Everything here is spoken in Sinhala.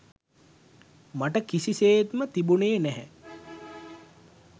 මට කිසිසේත්ම තිබුනේ නෑ.